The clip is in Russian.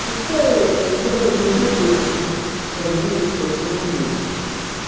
пускай ядерный пепел их развеет по всему миру